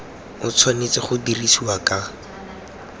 o tshwanetse go dirisiwa ka